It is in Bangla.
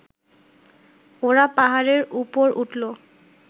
ওরা পাহাড়ের উপর উঠল